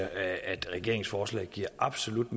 at regeringsforslaget absolut